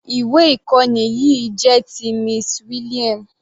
Ìwé ìkọ́ni yìí jẹ́ ti Miss William.